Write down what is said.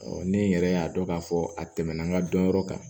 ne yɛrɛ y'a dɔn k'a fɔ a tɛmɛna n ka dɔnyɔrɔ kan